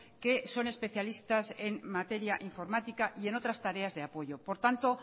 que son especialistas en materia informática y en otras tareas de apoyo por tanto